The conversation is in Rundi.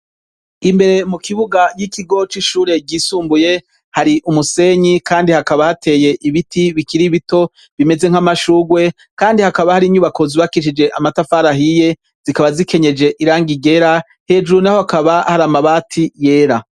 Imbere mu kibuga y'ikigoc'ishure ryisumbuye hari umusenyi, kandi hakaba hateye ibiti bikiriibito bimeze nk'amashurwe, kandi hakaba hari inyubako zibakicije amatafarahiye zikaba zikenyeje iranga igera hejuru na ho hakaba hari amabati yera.